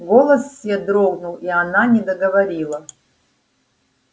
голос сё дрогнул и она не договорила